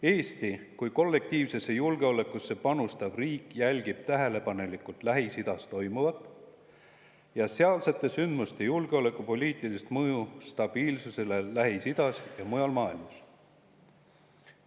Eesti kui kollektiivsesse julgeolekusse panustav riik jälgib tähelepanelikult Lähis-Idas toimuvat ja sealsete sündmuste julgeolekupoliitilist mõju stabiilsusele Lähis-Idas ja mujal maailmas.